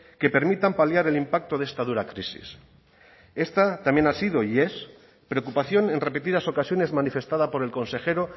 que permitan paliar el impacto de esta dura crisis esta también ha sido y es preocupación en repetidas ocasiones manifestada por el consejero